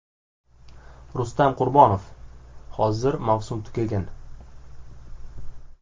Rustam Qurbonov: Hozir mavsum tugagan.